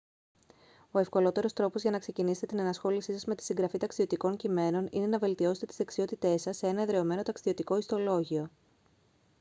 ο ευκολότερος τρόπος για να ξεκινήσετε την ενασχόλησή σας με τη συγγραφή ταξιδιωτικών κειμένων είναι να βελτιώσετε τις δεξιότητές σας σε ένα εδραιωμένο ταξιδιωτικό ιστολόγιο